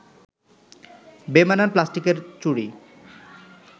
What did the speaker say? বেমানান প্লাস্টিকের চুড়ি